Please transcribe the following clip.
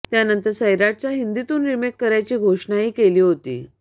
त्यानंतर सैराटचा हिंदीतून रिमेक करायची घोषणाही केली होती